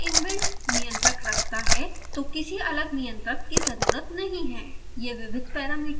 चूँकि यह ख़ुद का इनबिल्ट नियंत्रक रखता है तो किसी अलग नियंत्रक की ज़रुरत नहीं है